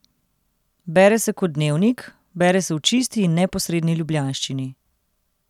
Bere se kot dnevnik, bere se v čisti in neposredni ljubljanščini.